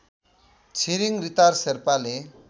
छिरिङरितार शेर्पाले